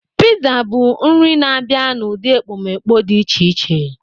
Pizza bụ nri na-abịa n'ụdị ekpomeekpo dị iche iche.